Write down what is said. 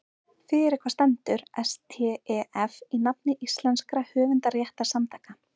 Fyrir hvað stendur STEF í nafni íslenskra höfundarréttarsamtaka?